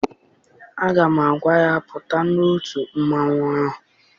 Aga m agwa ya, pụta n'otu mmanwụ ahụ!